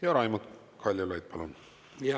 Ja Raimond Kaljulaid, palun!